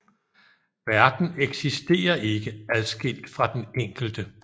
Verden eksisterer ikke adskilt fra den enkelte